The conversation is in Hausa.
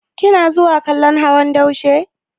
Kina zuwa kallon hawan daushe?